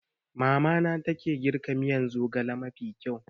Mamana ne take girka miyan zogale mafi kyau